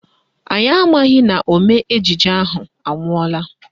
Anyị amaghị na omee ejije ahụ anwụọla